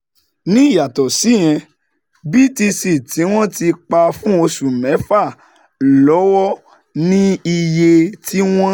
Ní ìyàtọ̀ síyẹn, BTC tí wọ́n ti pa fún oṣù mẹ́fà lọ́wọ́ ní iye tí wọ́n